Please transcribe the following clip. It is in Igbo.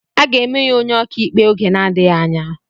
Aga eme ya onye ọkàikpe oge na-adịghị anya.